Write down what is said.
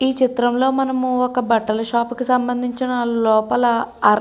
ఈ చిత్రంలో మనం ఒక బట్టల షాపు కి సంబంధించిన లోపల --